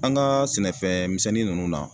An kaa sɛnɛfɛn misɛnnin ninnu na